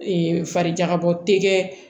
farijagabɔ tɛ kɛ